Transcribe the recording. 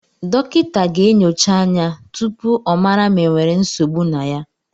Dọkịta ga-enyocha anya tụpụ ọ mara ma e nwèrè nsogbụ na ya